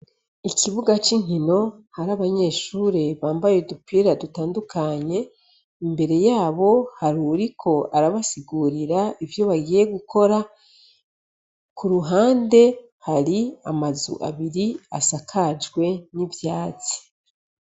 Ikibuga c' inkino hari abanyeshure bambaye udupira dutandukanye imbere yabo hari uwuriko arabasigurira ivyo bagiye gukora kuruhande hari amazu abiri asakajwe n' ivyatsi.